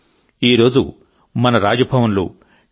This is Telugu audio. ఈరోజు మన రాజ్ భవన్ లు టి